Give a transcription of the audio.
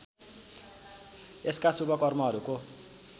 यसका शुभ कर्महरूको